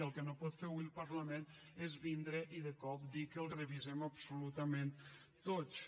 i el que no pot fer hui el parlament és vindre i de cop dir que els revisem absolutament tots